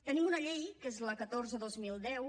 tenim una llei que és la catorze dos mil deu